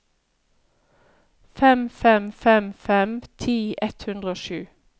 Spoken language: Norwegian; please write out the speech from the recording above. fem fem fem fem ti ett hundre og sju